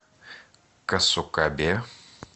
касукабе